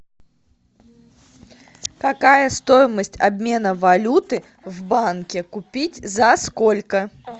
какая стоимость обмена валюты в банке купить за сколько